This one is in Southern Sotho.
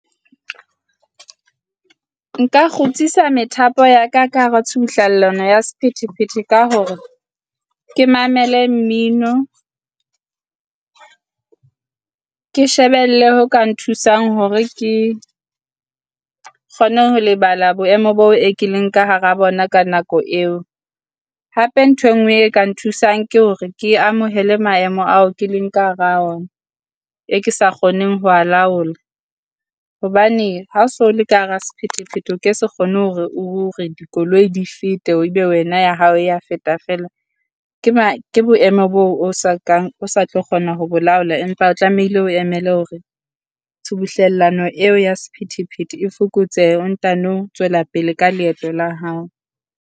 Nka kgutsisa methapo ya ka ka hara tshubuhlallano ya sephethephethe ka hore ke mamele mmino, ke shebelle ho ka nthusang hore ke kgone ho lebala boemo boo e ke leng ka hara bona ka nako eo. Hape ntho e nngwe e ka nthusang ke hore ke amohele maemo ao ke leng ka hara wona e ke sa kgoneng ho wa laola, hobane ha so le ka hara sephethephethe o ke se kgone hore o o re dikoloi di fete, ebe wena ya hao ya feta feela. Ke ke boemo boo o sa kang o sa tlo kgona ho bo laola, empa o tlamehile o emele hore tshubuhlellano eo ya sephethephethe e fokotsehe o ntano tswela pele ka leeto la hao.